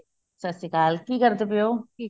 ਸਤਿ ਸ਼੍ਰੀ ਕੀ ਕਰਦੇ ਪਏ ਹੋ